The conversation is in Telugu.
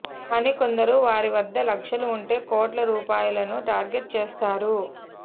కాని కొందరు వారి వద్ద లక్షలు ఉంటే కోట్ల రూపాయలను టార్గెట్ చేస్తారు